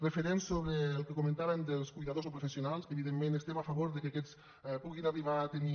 referent sobre el que comentàvem dels cuidadors no professionals evidentment estem a favor de que aquests puguin arribar a tenir